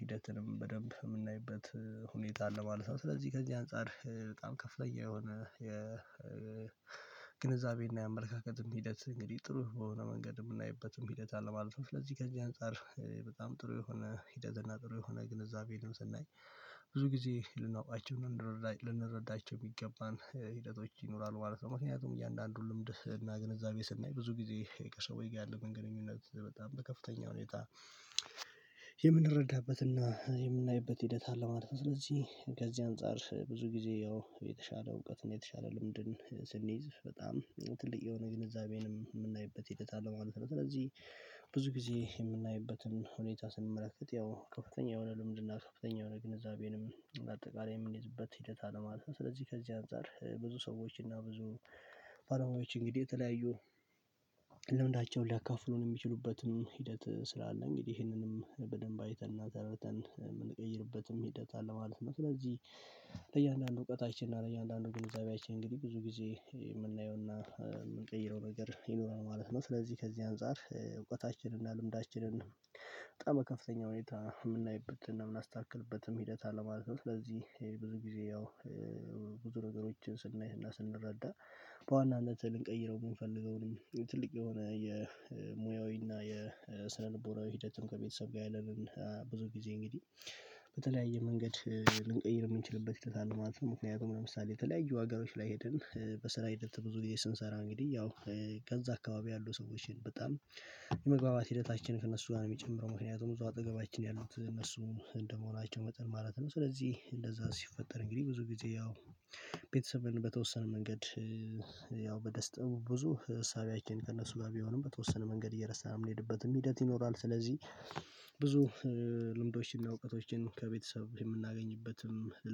ሂደትንም በደንብ የምናይበት ሁኔታ አለ ማለት ነው። ስለዚህ ከዚህ አንፃር በጣም ከፍተኛ የሆነ የግንዛቤና የአመለካከትም ሂደት እንግዲህ ጥሩ በሆነ መንገድ የምናይበትም ሂደት አለ ማለት ነው። ለዚህ ከዚህ አንፃር በጣም ጥሩ የሆነ ሂደት እና ጥሩ የሆነ ግንዛቤ ግንዛቤን ስናይ ብዙ ጊዜ ልናውቃቸው ልንረዳቸው የሚገባን ሂደቶች ይኖራሉ ማለት ነው። ምክንያቱም እያንዳንዱን ልምድ እና ግንዛቤ ስናይ ብዙ ጊዜ ከሰዎች ጋር ያለን ግንኙነት በጣም በከፍተኛ ሁኔታ የምንረዳበትና የምናይበት ሂደት አለማለት ነው። ስለዚህ ከዚህ አንፃር ብዙ ጊዜ ያው የተሻለ እውቀት የተሻለ ልምድን ስንይዝ በጣም ትልቅ የሆነ ግንዛቤንም የምናይበት ሂደት አለ ማለት ነው። ስለዚህ ብዙ ጊዜ የምናይበትን ሁኔታ ስንመለከት ያው ከፍተኛ የሆነ ለልምድና ከፍተኛ የሆነ ግንዛቤንም አጠቃላይ የምንይዝበት ሂደት አለ ማለት ነው። ስለዚህ ከዚህ አንፃር ብዙ ሰዎች እና ብዙ ባለሙያዎች እንግዲህ የተለያዩ ልምንዳቸውን ሊያካፍሉን የሚችሉበትም ሂደት ስላለ እንግዲህ ይሄንንም በደንብ አይተንና ተረድተን የምንቀይርበትም ሂደት አለ ማለት ነው። ስለዚህ ለእያንዳንዱ እውቀታችን እና ለእያንዳንዱ ግንዛቤያችን እንግዲህ ብዙ ጊዜ የምናየውና የምንቀይረው ነገር ይኖራል ማለት ነው። ስለዚህ ከዚህ አንፃር እውቀታችንና ልምዳችንን በጣም ከፍተኛ ሁኔታ የምናይበት እና የምናስተካክልበትም ሂደት አለማለት ነው። ለዚህ ብዙ ጊዜ ያው ብዙ ነገሮችን ስናይና ስንረዳ በዋናነትህ ልንቀይረው የምንፈልገው ነው። ትልቅ የሆነ የሙያዊና የስነልቦራዊ ሂደትም ከቤተሰብ ጋር ያለንን ብዙ ጊዜ እንግዲህ በተለያየ መንገድ ልንቀይር የምንችልበት ሂደት አለ ማለት ነው። ምክንያቱም ለምሳሌ የተለያዩ ሀገሮች ላይ ሄድን በስራ ሂደት ብዙ ስንሰራ እንግዲህ ያው ዕዛ አካባቢ ያሉ ሰዎችን በጣም የመግባባት ሂደታችን ከእነሱ ጋር ነው የሚጨምረው ምክንያቱም ብዙ አጠገባችን ያሉት እነሱ እንደመሆናቸው መጠን ማለት ነው። ስለዚህ እንደዛ ሲፈጠር እንግዲህ ብዙ ጊዜ ያው ቤተሰብን በተወሰነ መንገድ ያው በደስታ ብዙ ህሳቤያችን ከእነሱ ጋር ቢሆንም በተወሰነ መንገድ እየረሳን ነው የምንሄድበት ሂደት ይኖራል። ስለዚህ ብዙ ልምዶችን እውቀቶችን ከቤተሰብ የምናገኝበትም